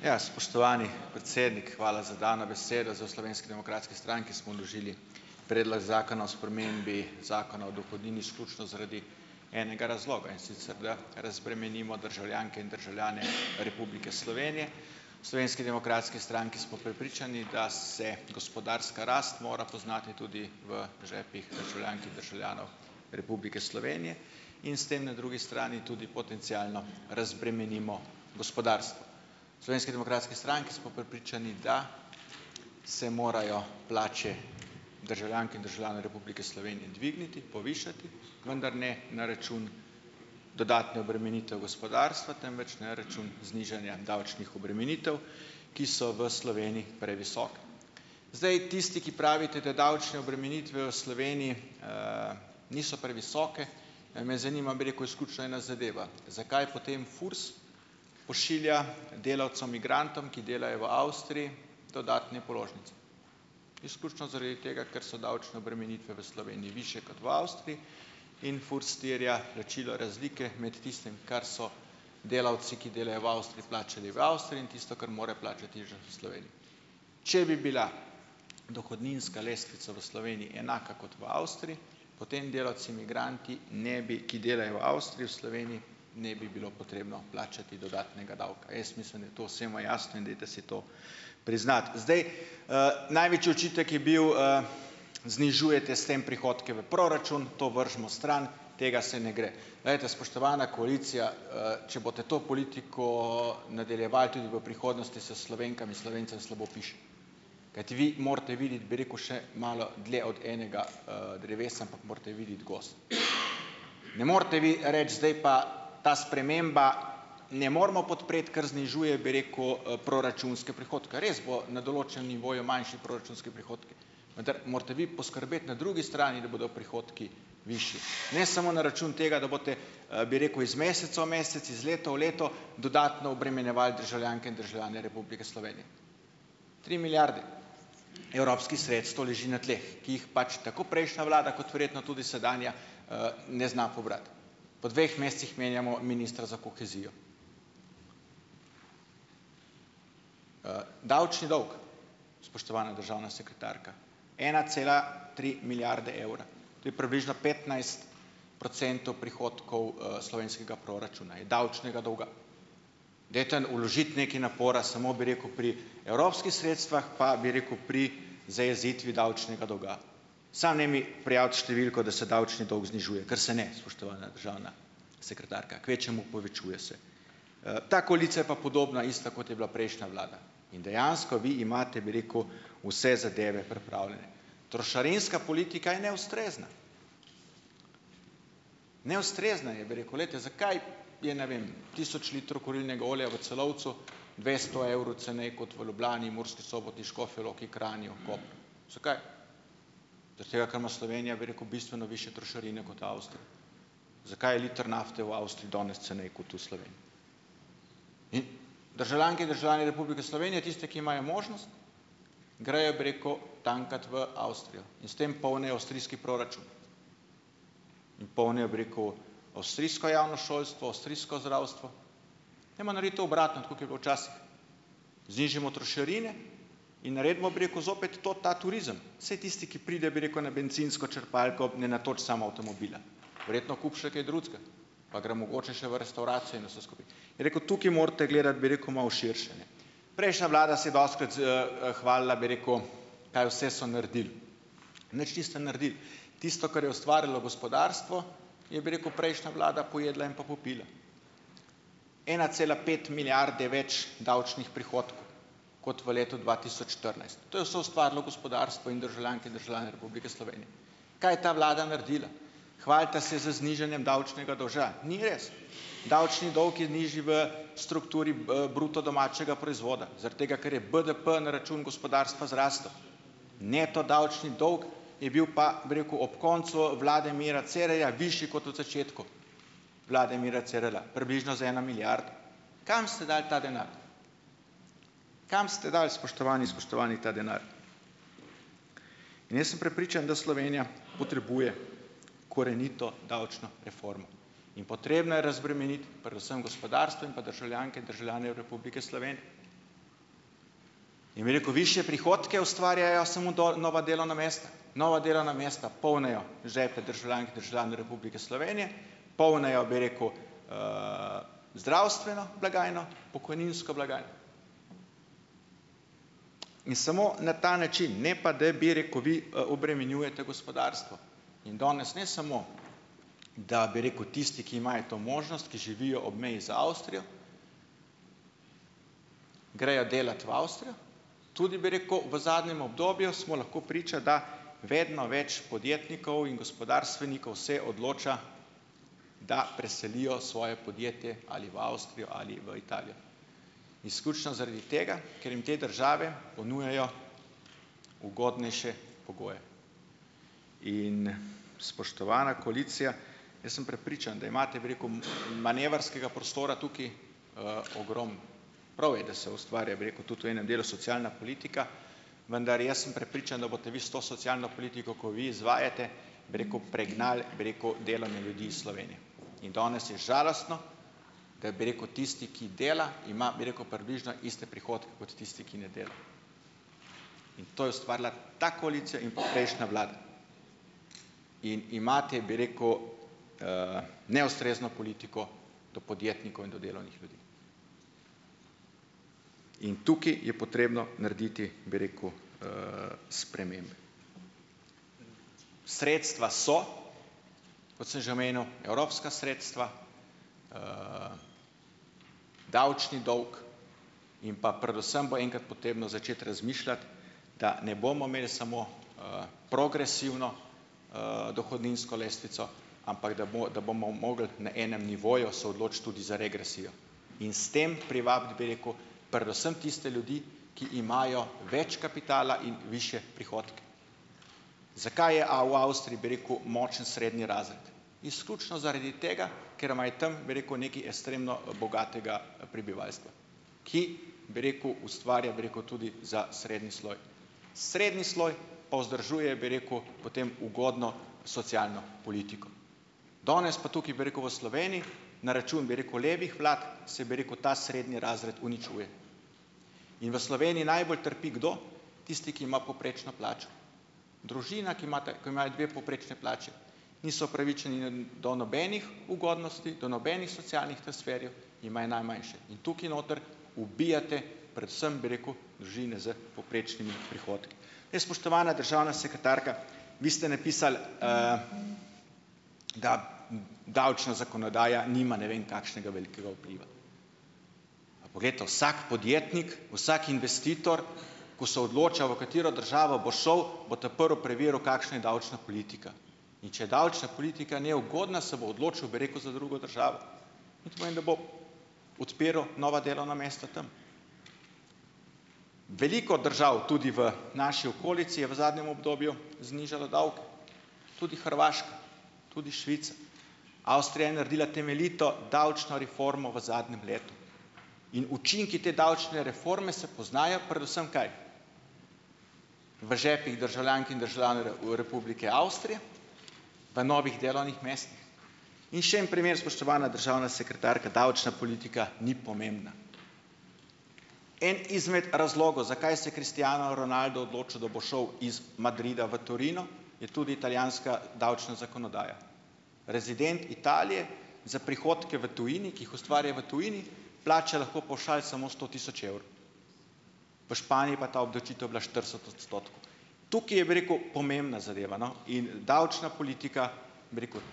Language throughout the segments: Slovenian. Ja, spoštovani predsednik, hvala za dano besedo. Zdaj, v Slovenski demokratski stranki smo vložili predlog zakona o spremembi zakona o dohodnini izključno zaradi enega razloga. In sicer da razbremenimo državljanke in državljane Republike Slovenije. V Slovenski demokratski stranki smo prepričani, da se gospodarska rast mora poznati tudi v žepih državljank in državljanov Republike Slovenije in s tem na drugi strani tudi potencialno razbremenimo gospodarstvo. V Slovenski demokratski stranki smo prepričani, da se morajo plače državljank in državljanov Republike Slovenije dvigniti, povišati, vendar ne na račun dodatnih obremenitev gospodarstva, temveč na račun znižanja davčnih obremenitev, ki so v Sloveniji previsoke. Zdaj, tisti, ki pravite, da davčne obremenitve v Sloveniji, niso previsoke me zanima, bi rekel, izključno ena zadeva. Zakaj potem FURS pošilja delavcem migrantom, ki delajo v Avstriji, dodatne položnice? Izključno zaradi tega, ker so davčne obremenitve v Sloveniji višje kot v Avstriji in FURS terja plačilo razlike med tistim, kar so delavci, ki delajo v Avstriji, plačali v Avstriji in tisto, kar morajo plačati še v Sloveniji. Če bi bila dohodninska lestvica v Sloveniji enaka kot v Avstriji, potem delavci migranti ne bi - ki delajo v Avstriji - v Sloveniji ne bi bilo potrebno plačati dodatnega davka. Jaz mislim, da je to vsemu jasno, in dajte si to priznati. Zdaj, največji očitek je bil, znižujete s tem prihodke v proračun. To vrzimo stran, tega se ne gre. Glejte, spoštovana koalicija, če boste to politiko, nadaljevali tudi v prihodnosti, se Slovenkam in Slovencem slabo piše. Kajti vi morate videti, bi rekel, še malo dlje od enega, drevesa, ampak morate videti gozd. Ne morate vi reči: "Zdaj pa - ta sprememba - ne moremo podpreti, ker znižuje, bi rekel, proračunske prihodke." Res bo na določenem nivoju manjši proračunski prihodki, vendar morate vi poskrbeti na drugi strani, da bodo prihodki višji, ne samo na račun tega, da boste, bi rekel, iz meseca v mesec, iz leta v leto, dodatno obremenjevali državljanke in državljane Republike Slovenije. Tri milijarde evropskih sredstev leži na tleh, ki jih pač tako prejšnja vlada, kot verjetno tudi sedanja, ne zna pobrati. Po dveh mesecih menjamo ministra za kohezijo. Davčni dolg, spoštovana državna sekretarka - ena cela tri milijarde evra. To je približno petnajst procentov prihodkov, slovenskega proračuna, je davčnega dolga. Dajte vložiti nekaj napora samo, bi rekel, pri evropskih sredstvih, pa bi rekel, pri zajezitvi davčnega dolga. Samo ne mi prijaviti številko, da se davčni dolg znižuje, ker se ne, spoštovana državna sekretarka. Kvečjemu povečuje se. Ta koalicija je pa podobna, ista, kot je bila prejšnja vlada, in dejansko vi imate, bi rekel, vse zadeve pripravljene. Trošarinska politika je neustrezna, neustrezna je, bi rekel. Glejte, zakaj je, ne vem, tisoč litrov kurilnega olja v Celovcu dvesto evrov ceneje kot v Ljubljani, Murski Soboti, Škofji Loki, Kranju, Kopru? Zakaj? Zaradi tega, ker ima Slovenija, bi rekel, bistveno višje trošarine kot Avstrija. Zakaj je liter nafte v Avstriji danes ceneje kot v Sloveniji? In državljanke in državljane Republike Slovenije, tisti, ki imajo možnost, grejo, bi rekel, tankat v Avstrijo in s tem polnijo avstrijski proračun in polnijo, bi rekel, avstrijsko javno šolsko, avstrijsko zdravstvo. Dajmo narediti to obratno, tako kot je bilo včasih. Znižajmo trošarine in naredimo, bi rekel, zopet to, ta turizem. Saj tisti, ki pride, bi rekel, na bencinsko črpalko, ne natoči samo avtomobila, verjetno kupi še kaj drugega, pa gre mogoče še v restavracijo in vse skupaj, bi rekel, tukaj morate gledati, bi rekel, malo širše, ne. Prejšnja vlada se je dostikrat hvalila, bi rekel, kaj vse so naredili. Nič niste naredili. Tisto, kar je ustvarilo gospodarstvo, je, bi rekel, prejšnja vlada pojedla in pa popila. Ena cela pet milijarde več davčnih prihodkov kot v letu dva tisoč štirinajst. To je soustvarilo gospodarstvo in državljanke in državljani Republike Slovenije. Kaj je ta vlada naredila? Hvalite se z znižanjem davčnega dolga. Ni res. Davčni dolg je nižji v strukturi bruto domačega proizvoda, zaradi tega, ker je BDP na račun gospodarstva zrasel. Neto davčni dolg je bil pa, bi rekel, ob koncu vlade Mira Cerarja višji kot v začetku vlade Mira Cerarja, približno za eno milijardo. Kam ste dali ta denar? Kam ste dali, spoštovani in spoštovani, ta denar? In jaz sem prepričan, da Slovenija potrebuje korenito davčno reformo in potrebno je razbremeniti predvsem gospodarstvo in pa državljanke in državljane Republike Slovenije. In, bi rekel, višje prihodke ustvarjajo samo nova delovna mesta. Nova delovna mesta polnijo žepe državljank in državljanov Republike Slovenije, polnijo, bi rekel, zdravstveno blagajno, pokojninsko in samo na ta način, ne pa da, bi rekel, vi obremenjujete gospodarstvo in danes ne samo, da, bi rekel, tisti, ki imajo to možnost, ki živijo ob meji z Avstrijo, grejo delat v Avstrijo tudi, bi rekel, v zadnjem obdobju smo lahko priča, da vedno več podjetnikov in gospodarstvenikov se odloča, da preselijo svoje podjetje ali v Avstrijo ali v Italijo, izključno zaradi tega, ker jim te države ponujajo ugodnejše pogoje. In, spoštovana koalicija, jaz sem prepričan, da imate, bi rekel, manevrskega prostora tukaj, ogromno. Prav je, da se ustvarja, bi rekel, tudi v enem delu socialna politika, vendar jaz sem prepričan, da boste vi s to socialno politiko, ko jo vi izvajate, bi rekel, pregnal, bi rekel, delovne ljudi iz Slovenije in danes je žalostno, ker, bi rekel, tisti, ki dela ima, bi rekel, približno iste prihodke kot tisti, ki ne dela, in to je ustvarila ta koalicija in pa prejšnja vlada. In imate, bi rekel, neustrezno politiko do podjetnikov in do delovnih ljudi in tukaj je potrebno narediti, bi rekel, spremembe. Sredstva so, kot sem že omenjal, evropska sredstva, davčni dolg in pa predvsem bo enkrat potrebno začeti razmišljati, da ne bomo imeli samo, progresivno, dohodninsko lestvico, ampak da da bomo mogli na enem nivoju se odločiti tudi za regresijo in s tem privabiti, bi rekel, predvsem tiste ljudi, ki imajo več kapitala in višje prihodke. Zakaj je v Avstriji, bi rekel, močen srednji razred? Izključno zaradi tega, ker imajo tam, bi rekel, nekaj ekstremno bogatega prebivalstva, ki, bi rekel, ustvarja, bi rekel, tudi za srednji sloj. Srednji sloj pa vzdržuje, bi rekel, potem ugodno socialno politiko. Danes pa tukaj, bi rekel, v Sloveniji, na račun, bi rekel, levih vlad se, bi rekel, ta srednji razred uničuje. In v Sloveniji najbolj trpi. Kdo? Tisti, ki ima povprečno plačo. Družina, ki ima imenovani dve povprečni plači, niso upravičeni do nobenih ugodnosti, do nobenih socialnih transferjev in imajo najmanjše in tukaj noter ubijate predvsem, bi rekel, družine s povprečnimi prihodki. Spoštovana državna sekretarka, vi ste napisali, da davčna zakonodaja nima ne vem kakšnega velikega vpliva. Poglejte, vsak podjetnik, vsak investitor, ko se odloča, v katero državo bo šel, bo ta prvo preveril, kakšna je davčna politika. In če je davčna politika neugodna, se bo odločil, bi rekel, za drugo državo in to pomeni, da bo odpiral nova delovna mesta tam. Veliko držav tudi v naši okolici je v zadnjem obdobju znižalo davke, tudi Hrvaška, tudi Švica. Avstrija je naredila temeljito davčno reformo v zadnjem letu in učinki te davčne reforme se poznajo, predvsem kaj, v žepih državljank in državljanov, Republike Avstrije, v novih delovnih mestih. In še en primer, spoštovana državna sekretarka, davčna politika ni pomembna. En izmed razlogov, zakaj se je Cristiano Ronaldo odločil, da bo šel iz Madrida v Torino, je tudi italijanska davčna zakonodaja. Rezident Italije za prihodke v tujini, ki jih ustvarja v tujini, plača lahko pavšal samo sto tisoč evrov. V Španiji je pa ta obdavčitev bila štirideset odstotkov. Tukaj je, bi rekel, pomembna zadeva, no, in davčna politika, bi rekel,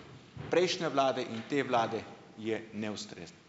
prejšnje vlade in te vlade je neustrezna.